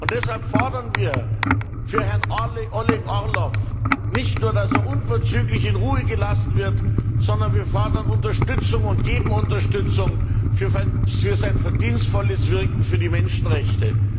Deshalb fordern wir für Herrn Oleg Orlov nicht nur, dass er unverzüglich in Ruhe gelassen wird, sondern wir fordern Unterstützung und geben Unterstützung für sein verdienstvolles Wirken für die Menschenrechte.